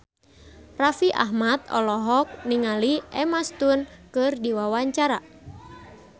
Raffi Ahmad olohok ningali Emma Stone keur diwawancara